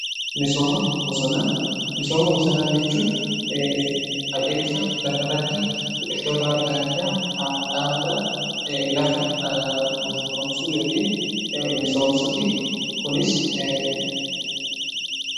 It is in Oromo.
misooma bosonaa jechuun adeemsa lafa irratti biqiltoota adda addaa dhaabudhaan lafa bosonoomsuu yookiin dhaabuti.